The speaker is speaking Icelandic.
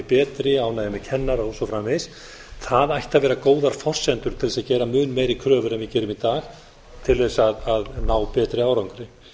betri ánægja með kennara og svo framvegis það ætti að vera góðar forsendur til þess að gera mun meiri kröfur en við gerum í dag til þess að ná betri árangri